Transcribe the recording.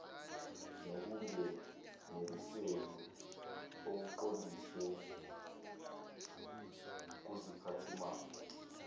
nokunganeliseki okuqondiswe kuziphathimandla